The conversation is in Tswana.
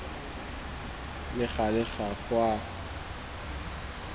le gale ga go a